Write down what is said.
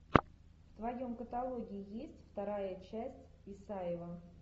в твоем каталоге есть вторая часть исаева